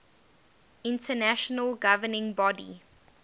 international governing body